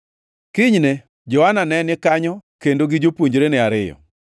Kinyne Johana ne ni kanyo kendo gi jopuonjrene ariyo.